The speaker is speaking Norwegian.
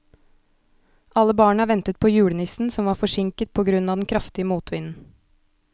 Alle barna ventet på julenissen, som var forsinket på grunn av den kraftige motvinden.